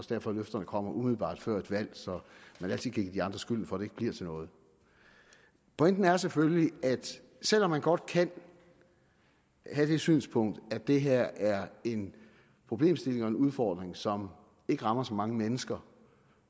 derfor løfterne kommer umiddelbart før et valg så man altid kan give de andre skylden for at det ikke bliver til noget pointen er selvfølgelig at selv om man godt kan have det synspunkt at det her er en problemstilling og en udfordring som ikke rammer så mange mennesker